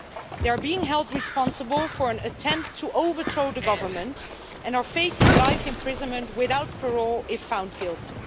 They are being held responsible for an attempt to overthrow the government and are facing life imprisonment without parole if found guilty.